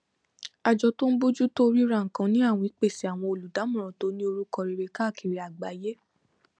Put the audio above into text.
àjọ tó ń bójú tó ríra nǹkan ni àwìn pèsè àwọn olùdámọràn tó ní orúkọ rere káàkiri àgbáyé